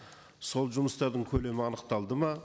сол жұмыстардың көлемі анықталды ма